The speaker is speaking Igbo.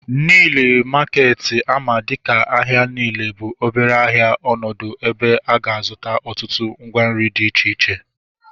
Nile maketi ama dịka ahịa Nile bụ obere ahịa ọnọdụ ebe ị ga-azụta ọtụtụ ngwa nri dị iche iche